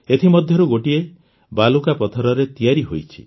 ଏଥିମଧ୍ୟରୁ ଗୋଟିଏ ବାଲୁକାପଥରରେ ତିଆରି ହୋଇଛି